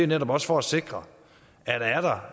netop også for at sikre